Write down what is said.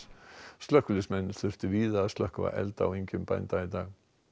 slökkviliðsmenn þurftu víða að slökkva elda á engjum bænda í dag